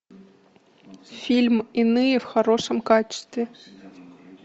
фильм иные в хорошем качестве